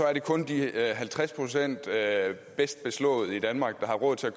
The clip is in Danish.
er det kun de halvtreds procent mest velbeslåede i danmark der har råd til at